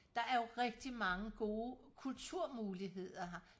der er jo rigtig mange gode kulturmuligheder her